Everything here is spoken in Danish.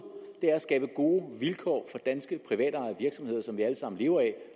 at skabe gode vilkår for danske privatejede virksomheder som vi allesammen lever af